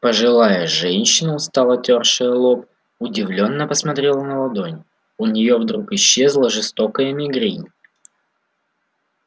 пожилая женщина устало тёршая лоб удивлённо посмотрела на ладонь у нее вдруг исчезла жестокая мигрень